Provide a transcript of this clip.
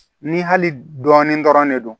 Ni hali dɔɔnin dɔrɔn ne don